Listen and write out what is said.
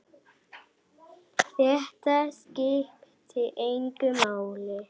Þetta skipti engu máli.